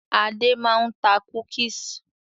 Adé máa ń ta "cookies".